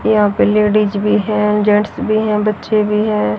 यहां पे लेडिस भी है जेंट्स भी है बच्चे भी है।